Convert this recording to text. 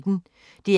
DR P1